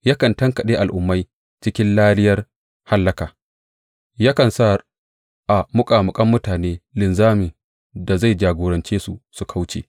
Yakan tankaɗe al’ummai cikin lariyar hallaka; yakan sa a muƙamuƙan mutane linzamin da zai jagorance su su kauce.